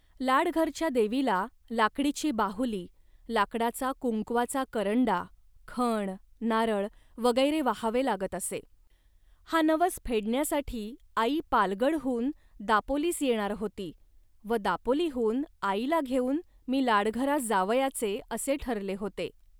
लाडघरच्या देवीला लाकडीची बाहुली, लाकडाचा कुंकवाचा करंडा, खण, नारळ, वगैरे वाहावे लागत असे. हा नवस फेडण्यासाठी आई पालगडहून दापोलीस येणार होती व दापोलीहून आईला घेऊन मी लाडघरास जावयाचे, असे ठरले होते